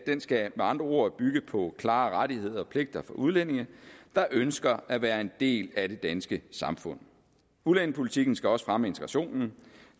skal med andre ord bygge på klare rettigheder og pligter for udlændinge der ønsker at være en del af det danske samfund udlændingepolitikken skal også fremme integrationen